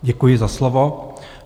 Děkuji za slovo.